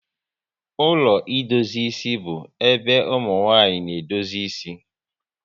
Ụlọ idozi isi bu ébé ụmụnwanyị na-edozi ịsị